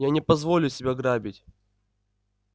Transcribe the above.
я не позволю себя грабить